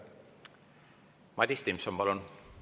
Madis Timpson, palun!